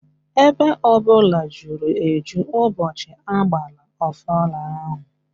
Ebe ọbụla juru eju ụbọchị agbara ọfala ahụ